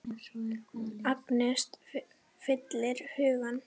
Angist fyllir hugann.